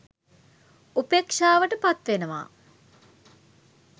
උපේක්ෂාවට පත්වෙනවා.